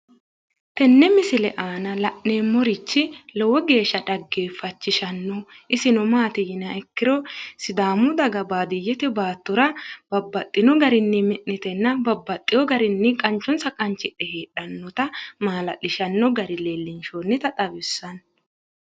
Tenne misile aana la'neemmorichi lowo geeshsha dhageeffachishanno. Isino maati yiniha ikkiro sidaamu daga baadiyyete baattora babbaxino garinni mi'nitenna babbaxxewo garinni qanchonsa qanchidhe heedhannota maala'lisanno gari leellinshoonnita xawissanno